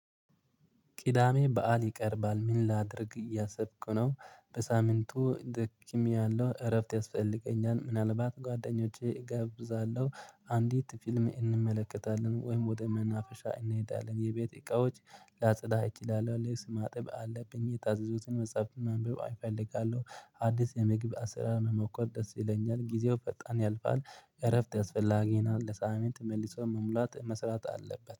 ቂዳሜ በዓል ይቀርባል? ምን ላድርግ እያሰብኩነው በሳምንቱ ደክሚያለሁ እረፍት ያስፈልገኛል። ምናልባት ጓደኞቼ እገብዛለሁ። አንዲት ፊልም እንመለከታለን ወይም ወደ መናፈሻ እንሄዳለን። የቤት እቃዎች ላጸዳ እችላለሁ። ልብስ ማጠብዥ አለብኝ። የታዘዙትን መጽሐፍ መንበብ አይፈልጋለሁ። አዲስ የመግቢያ ስራ መሞከር ደስ ይለኛል። ጊዜው ፈጣን ያልፋል። እረፍት ያስፈልገናል ለሳምንት መልሶ መሙላት መስራት አለበት